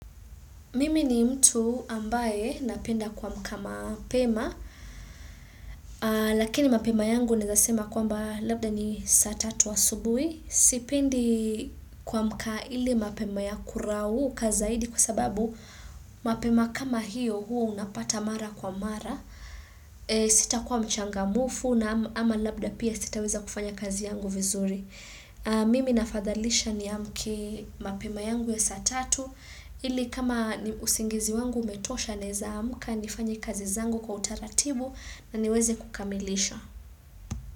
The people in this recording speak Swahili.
Mimi ni mtu ambaye napenda kuamka mapema, lakini mapema yangu naeza sema kwamba labda ni saa tatu asubui. Sipendi kumka ile mapema ya kurauka zaidi kwa sababu mapema kama hiyo huo unapata mara kwa mara. Sitakuwa mchangamfu na ama labda pia sitaweza kufanya kazi yangu vizuri. Mimi nafadhalisha niamke mapema yangu ya saa tatu ili kama usingizi wangu umetosha naeza amka nifanye kazi zangu kwa utaratibu na niweze kukamilisha.